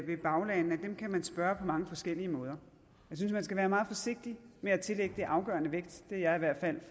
med baglande at dem kan man spørge på mange forskellige måder jeg synes man skal være meget forsigtig med at tillægge det afgørende vægt det er jeg i hvert fald